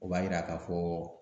O b'a yira ka fɔ